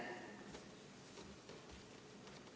Aitäh!